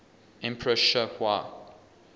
emperor sh wa